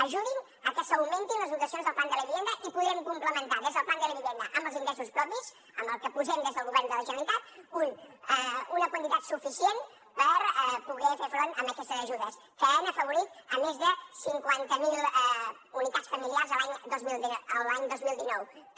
ajudin a que s’augmentin les dotacions del plan de la vivienda i podrem complementar des del plan de la vivienda amb els ingressos propis amb el que posem des del govern de la generalitat una quantitat suficient per poder fer front a aquestes ajudes que han afavorit a més de cinquanta miler unitats familiars l’any dos mil dinou que